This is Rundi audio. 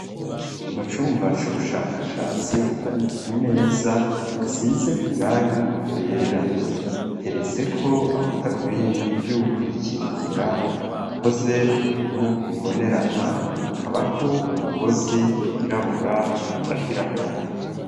Mu cumba c'ubushakashatsi, hari imeza isize irangi ryera iteretseko amadarubindi y'ukwikingira, akoze mu bintu bibonerana akabako umugozi wirabura uyafatira ku mutwe.